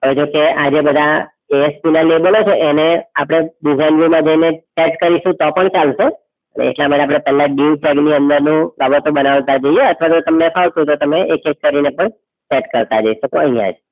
હવે જો કે આઇરા બધા ASP ના label છે એને આપણે design view મા જઇને start કરીશું તો પણ ચાલશે એટલા માટે આપણે કલાક dieu tag ની અંદરનું બાબતો બરાબર કરતા જઈએ અને આખરમાં તમને ફાવતું હોય તો તમે એક એક કરીને પણ start કરતા જઈશું.